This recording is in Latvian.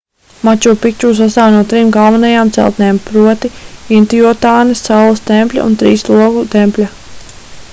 maču pikču sastāv no trim galvenajām celtnēm proti intiuatanas saules tempļa un trīs logu tempļa